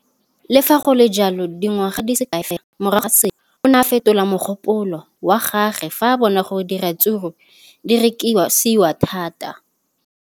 Le fa go le jalo, dingwaga di se kae fela morago ga seno, o ne a fetola mogopolo wa gagwe fa a bona gore diratsuru di rekisiwa thata.